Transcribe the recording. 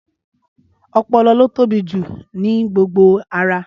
Ọpọlọ ló tóbi jù ní gbogbo ara